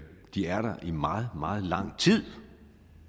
de er der i meget meget lang tid